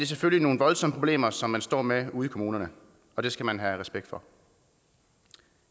selvfølgelig nogle voldsomme problemer som man står med ude i kommunerne og det skal man have respekt for